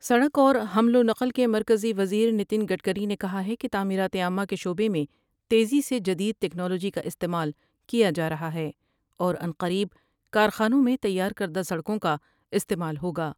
سڑک اور حمل ونقل کے مرکزی وزیر نتن گڈکری نے کہا ہے کہ تعمیرات عامہ کے شعبے میں تیزی سے جدید تکنالوجی کا استعمال کیا جارہا ہے اورعنقریب کارخانوں میں تیار کردہ سڑکوں کا استعمال ہوگا ۔